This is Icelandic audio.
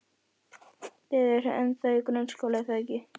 Þið eruð ennþá í grunnskóla, er það ekki?